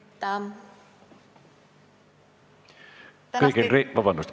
Vabandust!